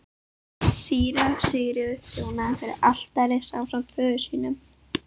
Síra Sigurður þjónaði fyrir altari ásamt föður sínum.